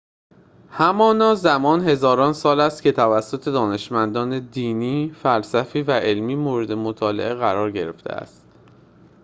همانا زمان هزاران سال است که توسط دانشمندان دینی فلسفی و علمی مورد مطالعه قرار گرفته است